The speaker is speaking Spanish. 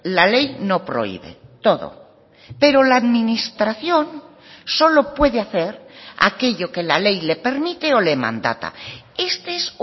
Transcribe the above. la ley no prohíbe todo pero la administración solo puede hacer aquello que la ley le permite o le mandata este es